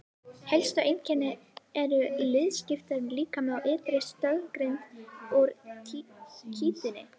Helstu einkenni eru liðskiptur líkami og ytri stoðgrind úr kítíni.